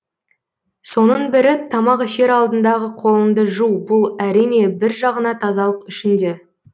соның бірі тамақ ішер алдындағы қолыңды жу бұл әрине бір жағына тазалық үшін де